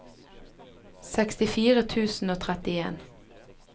sekstifire tusen og trettien